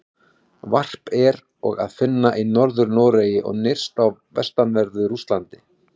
Varp er og að finna í Norður-Noregi og nyrst á vestanverðu Rússlandi.